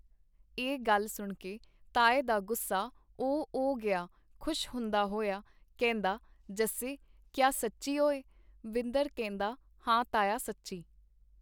ਇਹ ਗੱਲ ਸੁਣਕੇ ਤਾਏ ਦਾ ਗੁੱਸਾ ਉਹ ਉਹ ਗਿਆ ਖੁਸ਼ ਹੁੰਦਾ ਹੋਇਆ ਕਹਿੰਦਾ ਜੱਸੇ ਕੀਆ ਸੱਚੀ ਓਏ .. ਵਿੰਦਰ ਕਹਿੰਦਾ ਹਾਂ ਤਾਇਆ ਸੱਚੀ.